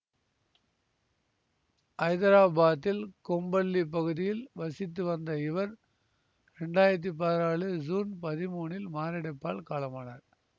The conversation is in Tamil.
ஐதராபாதில் கொம்பள்ளி பகுதியில் வசித்து வந்த இவர் இரண்டாயிரத்தி பதினாலு சூன் பதிமூனில் மாரடைப்பால் காலமானார்